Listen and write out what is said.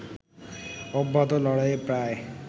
অব্যাহত লড়াইয়ে প্রায়